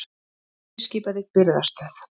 Hann fyrirskipaði birgðastöð